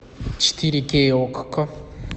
четыре кей окко